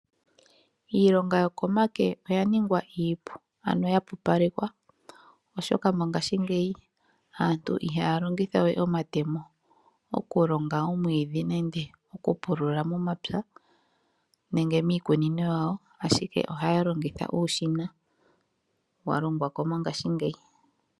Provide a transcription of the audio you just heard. Iilonga yokomake oya ningwa iipu, ano ya pupalekwa, oshoka mongaashingeyi aantu ihaya longitha we omatemo, okulonga omwiidhi nande okupula momapya nenge miikunino yawo ashike ohaya longitha uushina wa longwa ko mongaashingeyi.